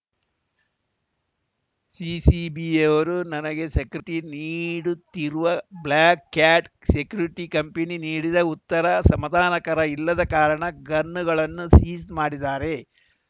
ಸಿಸಿಬಿಯವರು ನನಗೆ ಸೆಕ್ಯುರಿಟಿ ನೀಡುತ್ತಿರುವ Black Cat security company ನೀಡಿದ ಉತ್ತರ ಸಮಾಧಾನಕರ ಇಲ್ಲದ ಕಾರಣ ಗನ್‌ಗಳನ್ನು ಸೀಜ್‌ ಮಾಡಿದ್ದಾರೆ